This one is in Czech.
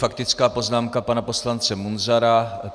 Faktická poznámka pana poslance Munzara.